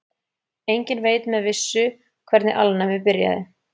Enginn veit með vissu hvernig alnæmi byrjaði.